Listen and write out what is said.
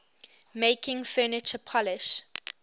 making furniture polish